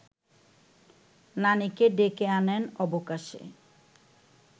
নানিকে ডেকে আনেন অবকাশে